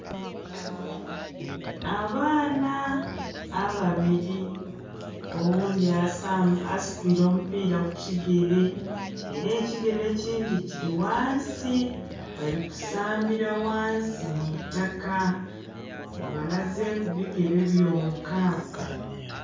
Abaana ababili, oghundhi asitwiile omupiira ku kigere, ela ekigere ekindhi kili ghansi, bali kusambira ghansi mu itaka. Babalazeeku bigere byonka.